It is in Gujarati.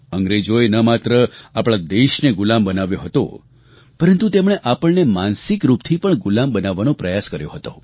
અંગ્રેજોએ ન માત્ર આપણા દેશને ગુલામ બનાવ્યો હતો પરંતુ તેમણે આપણને માનસિક રૂપથી પણ ગુલામ બનાવવાનો પ્રયાસ કર્યો હતો